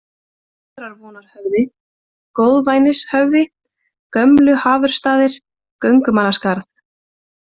Góðrarvonarhöfði, Góðvænishöfði, Gömlu-Hafursstaðir, Göngumannaskarð